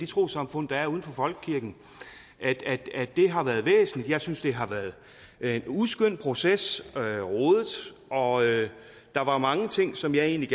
trossamfund der er uden for folkekirken har været væsentlig jeg synes det har været en uskøn proces og der var mange ting som jeg egentlig